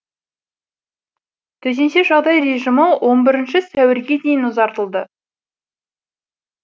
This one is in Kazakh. төтенше жағдай режимі он бірінші сәуірге дейін ұзартылды